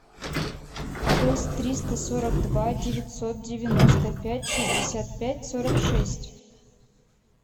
шесть триста сорок два девятьсот девяносто пять шестьдесят пять сорок шесть